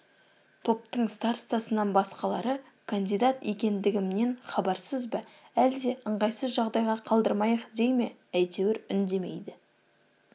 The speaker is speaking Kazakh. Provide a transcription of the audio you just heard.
топтың старостасынан басқалары кандидат екендігімнен хабарсыз ба әлде ыңғайсыз жағдайға қалдырмайық дей ме әйтеуір үндемейді